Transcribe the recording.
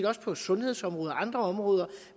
også på sundhedsområdet og andre områder